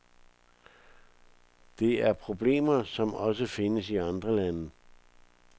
Det er problemer, som også findes i andre lande.